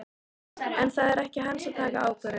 En það er ekki hans að taka þá ákvörðun.